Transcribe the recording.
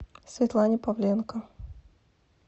светлане павленко